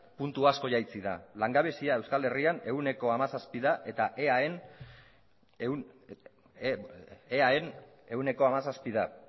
puntu asko jaitsi da langabezia euskal herrian ehuneko hamazazpira